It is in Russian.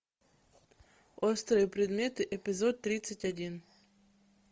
острые предметы эпизод тридцать один